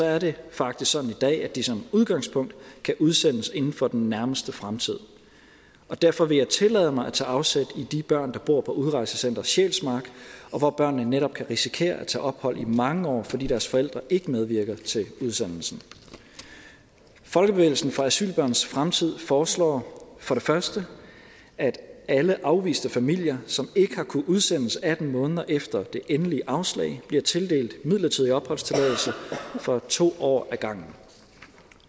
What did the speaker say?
er det faktisk sådan i dag at de som udgangspunkt kan udsendes inden for den nærmeste fremtid og derfor vil jeg tillade mig at tage afsæt i de børn der bor på udrejsecenter sjælsmark hvor børnene netop kan risikere at skulle tage ophold i mange år fordi deres forældre ikke medvirker til udsendelsen folkebevægelsen for asylbørns fremtid foreslår for det første at alle afviste familier som ikke har kunnet udsendes atten måneder efter det endelige afslag bliver tildelt midlertidig opholdstilladelse for to år ad gangen